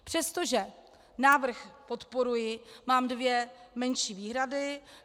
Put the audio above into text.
Přestože návrh podporuji, mám dvě menší výhrady.